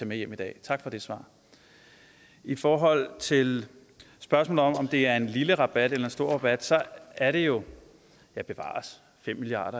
med hjem i dag tak for det svar i forhold til spørgsmålet om om det er en lille rabat eller en stor rabat er det jo bevares fem milliard